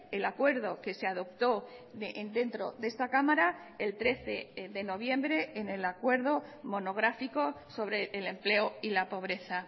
el acuerdo que se adoptó dentro de esta cámara el trece de noviembre en el acuerdo monográfico sobre el empleo y la pobreza